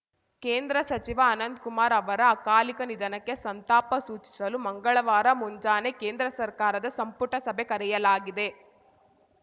ಕೇಂದ್ರ ಸಚಿವ ಅನಂತ್ ಕುಮಾರ್‌ ಅವರ ಅಕಾಲಿಕ ನಿಧನಕ್ಕೆ ಸಂತಾಪ ಸೂಚಿಸಲು ಮಂಗಳವಾರ ಮುಂಜಾನೆ ಕೇಂದ್ರ ಸರ್ಕಾರದ ಸಂಪುಟ ಸಭೆ ಕರೆಯಲಾಗಿದೆ